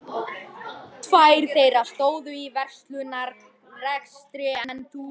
Tvær þeirra stóðu í verslunarrekstri en sú þriðja var kona